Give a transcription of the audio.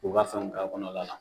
U b'a fɛnw k'a kɔnɔla la